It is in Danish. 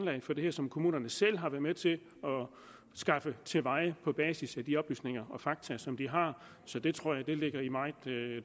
for det her som kommunerne selv har været med til at skaffe til veje på basis af de oplysninger og fakta som de har så det tror jeg ligger i meget